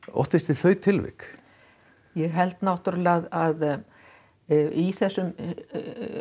óttist þið þau tilvik ég held náttúrulega að í þessum